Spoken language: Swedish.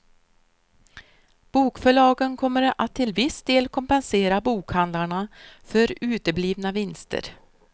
Bokförlagen kommer att till viss del kompensera bokhandlarna för uteblivna vinster.